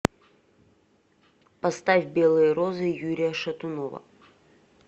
поставь белые розы юрия шатунова